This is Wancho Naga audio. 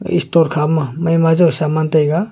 istor kha ma man ma jaw saman taiga.